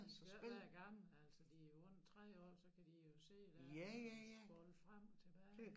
Da skal ikke være gamle altså de jo under 3 år så kan de jo sidde dér og scrolle frem og tilbage